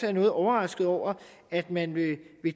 er noget overrasket over at man vil